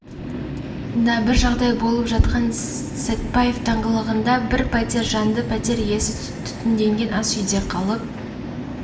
да бір жағдай болған сәтпаев даңғылында бір пәтер жанды пәтер иесі түтінденген ас үйде қалып